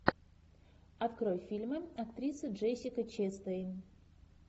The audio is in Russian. открой фильмы актрисы джессика честейн